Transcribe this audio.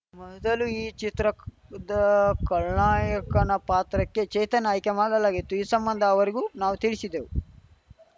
ಮೊದಲು ಈ ಚಿತ್ರದ ಖಳನಾಯಕನ ಪಾತ್ರಕ್ಕೆ ಚೇತನ್‌ ಆಯ್ಕೆ ಮಾಡಲಾಗಿತ್ತು ಈ ಸಂಬಂಧ ಅವರಿಗೂ ನಾವು ತಿಳಿಶಿದ್ದೆವು